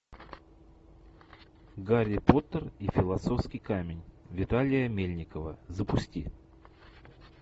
гарри поттер и философский камень виталия мельникова запусти